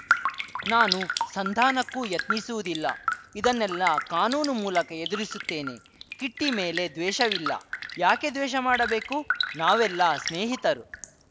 ನಾನು ಸಂಧಾನಕ್ಕೂ ಯತ್ನಿಸುವುದಿಲ್ಲ ಇದನ್ನೆಲ್ಲ ಕಾನೂನು ಮೂಲಕ ಎದುರಿಸುತ್ತೇನೆ ಕಿಟ್ಟಿಮೇಲೆ ದ್ವೇಷವಿಲ್ಲ ಯಾಕೆ ದ್ವೇಷ ಮಾಡಬೇಕು ನಾವೆಲ್ಲ ಸ್ನೇಹಿತರು